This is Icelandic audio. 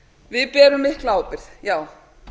við berum mikla ábyrgð já